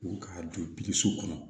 U k'a don so kɔnɔ